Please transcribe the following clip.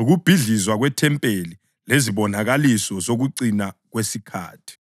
Ukubhidlizwa KweThempeli Lezibonakaliso Zokucina Kwesikhathi